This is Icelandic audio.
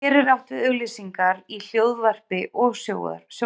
Hér er átt við auglýsingar í hljóðvarpi og sjónvarpi.